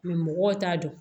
mɔgɔw t'a dɔn